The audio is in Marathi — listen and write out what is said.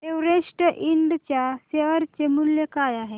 एव्हरेस्ट इंड च्या शेअर चे मूल्य काय आहे